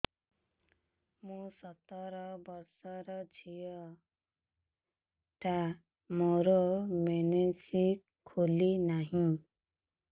ମୁ ସତର ବର୍ଷର ଝିଅ ଟା ମୋର ମେନ୍ସେସ ଖୁଲି ନାହିଁ